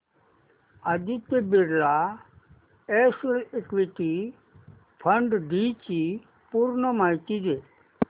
Aditya Birla SL equity fund D ची पूर्ण माहिती दे